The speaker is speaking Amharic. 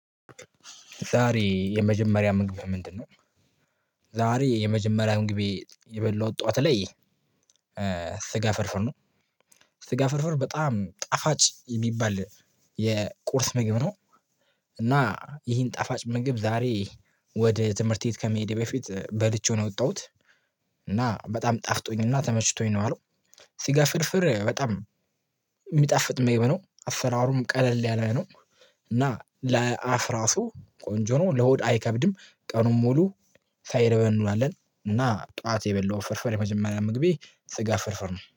ዛሬ የመጀመሪያ ምግብህ ምንድነው? ዛሬ የመጀመሪያ ምንግቤ የበላሁት ጠዋት ላይ። ስጋ ፍርፍር ነው። ስጋ ፍርፍር በጣም ጣፋጭ የሚባል የቁርስ ምግብ ነው። እና ይሄን ጣፋጭ ምግብ ዛሬ ወደ ትምህርት ቤት ከመሄዴ በፊት በልቼው ነው የወጣሁት። እና በጣም ጣፍጦኝ እና ተመችቶኝ ነው የዋልኩ። ስጋ ፍልፍር በጣም የሚጣፍጥ ምግብ ነው አፈራሩም ቀለል ያለ ነው። እና ለአፍ ራሱ ቆንጆ ነው ለሆድ አይከብድም ቀኑን ሙሉ ሳይርበን እንውላለን። እና ጠዋት የበላሁት ፍርፍር የመጀመሪያ ምግቤ ስጋ ፍርፍር ነው